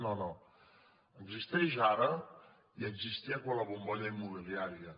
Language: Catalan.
no no existeix ara i existia quan la bom·bolla immobiliària